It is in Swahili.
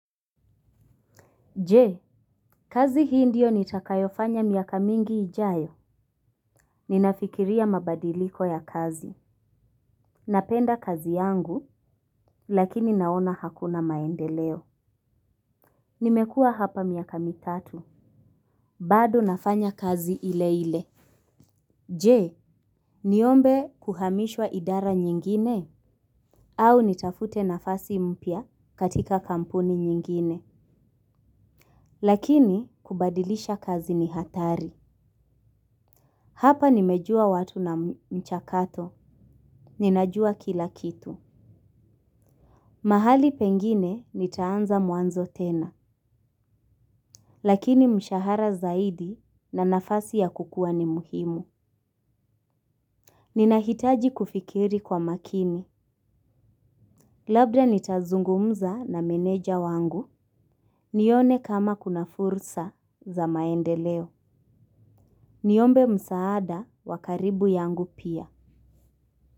Je kazi hii ndio nitakayofanya miaka mingi ijayo. Ninafikiria mabadiliko ya kazi. Napenda kazi yangu, lakini naona hakuna maendeleo. Nimekua hapa miaka mitatu. Bado nafanya kazi ile ile. Jee, niombe kuhamishwa idara nyingine? Au nitafute nafasi mpya katika kampuni nyingine. Lakini, kubadilisha kazi ni hatari. Hapa nimejua watu na mchakato. Ninajua kila kitu. Mahali pengine nitaanza mwanzo tena. Lakini mshahara zaidi na nafasi ya kukua ni muhimu. Ninahitaji kufikiri kwa makini. Labda nitazungumza na meneja wangu. Nione kama kuna fursa za maendeleo. Niombe msaada wa karibu yangu pia.